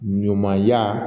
Ɲumanya